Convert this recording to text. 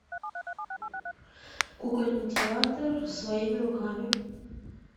кукольный театр своими руками